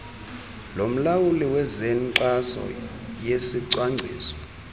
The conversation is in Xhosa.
lomlawuli wezenkxaso yesicwangciso